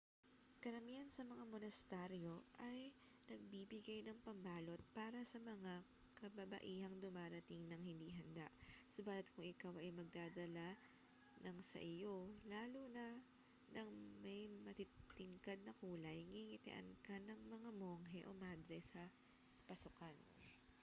karamihan ng mga monasteryo ay nagbibigay ng pambalot para sa mga kababaihang dumarating nang hindi handa subalit kung ikaw ay magdadala ng sa iyo lalo na ng may matitingkad na kulay ngingitian ka ng monghe o madre sa pasukan